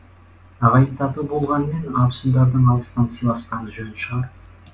ағайын тату болғанмен абысындардың алыстан сыйласқаны жөн шығар